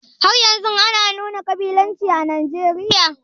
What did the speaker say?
Haryanzun ana nuna ƙabilanci a Nijeriya?